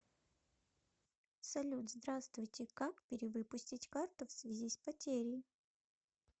салют здравствуйте как перевыпустить карту в связи с потерей